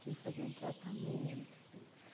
Tive que fazer um tratamento e tudo.